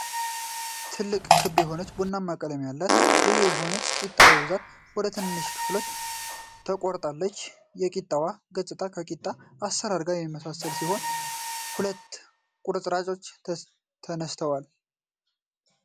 ትልቅ ክብ የሆነች ቡናማ ቀለም ያላት ልዩ የሆነች ቂጣ በብዛት ወደ ትናንሽ ክፍሎች ተቆርጣለች። የቂጣዋ ገጽታ ከቂጣ አሠራር ጋር የሚመሳሰል ሲሆን፣ ሁለት ቁርጥራጮች ተነስተዋል።